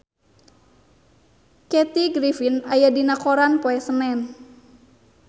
Kathy Griffin aya dina koran poe Senen